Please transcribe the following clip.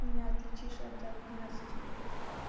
не отличишь от одиннадцати лет